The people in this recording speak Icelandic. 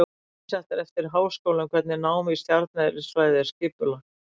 Misjafnt er eftir háskólum hvernig nám í stjarneðlisfræði er skipulagt.